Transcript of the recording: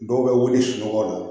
Dɔw bɛ wuli sunɔgɔ la